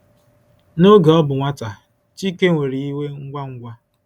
N’oge ọ bụ nwata, Chike nwere iwe ngwa ngwa.